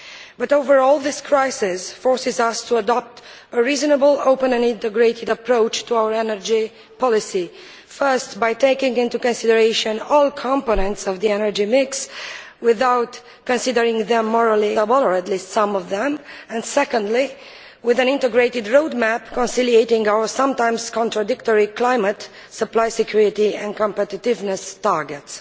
But, overall, this crisis forces us to adopt a reasonable, open and integrated approach to our energy policy first, by taking into consideration all components of the energy mix without considering them or at least some of them morally unacceptable, and secondly, with an integrated road map, reconciling our sometimes contradictory climate, supply security and competitiveness targets.